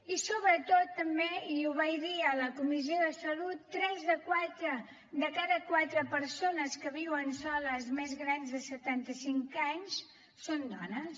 i sobretot també i ho vaig dir a la comissió de salut tres de cada quatre persones que viuen soles més grans de setanta cinc anys són dones